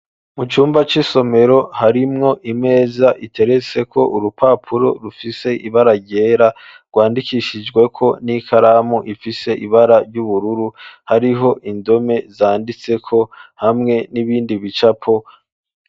Mu cumba c'isomero harimwo imeza iteretse ko urupapuro rufise ibara ryera rwandikishijwe ko n'ikaramu ifise ibara ry'ubururu hariho indome zanditse ko hamwe n'ibindi bicapo.